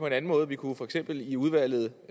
en anden måde vi kunne for eksempel i udvalget